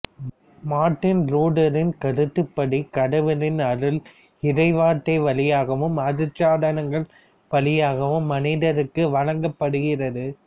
Martin லூதரின் கருத்துப்படி கடவுளின் அருள் இறைவார்த்தை வழியாகவும் அருட்சாதனங்கள் வழியாகவும் மனிதருக்கு வழங்கப்படுகிறது